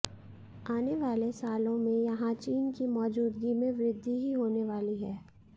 आने वाले सालों में यहां चीन की मौजूदगी में वृद्धि ही होने वाली है